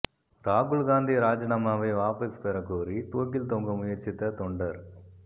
ராகுல் காந்தி ராஜினாமாவை வாபஸ் பெற கோரி தூக்கில் தொங்க முயற்சித்த தொண்டர்